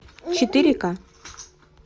четыре ка